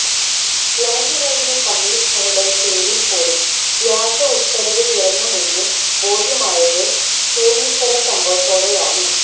land revenue കമ്മിഷണറുടെ പേരില് പോലും വ്യാജ ഉത്തരവ് ഇറങ്ങുമെന്ന് ബോധ്യമായത് ചൂര്ണിക്കര സംഭവത്തോടെയാണ്